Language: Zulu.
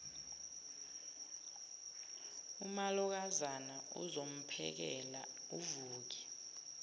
umalokazana ozomphekela uvuke